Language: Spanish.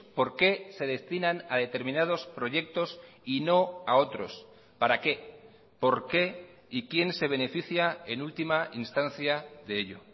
por qué se destinan a determinados proyectos y no a otros para qué por qué y quién se beneficia en última instancia de ello